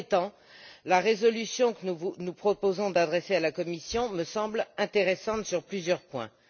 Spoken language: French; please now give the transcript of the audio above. Cela étant, la résolution que nous proposons d'adresser à la Commission me semble intéressante sur plusieurs points.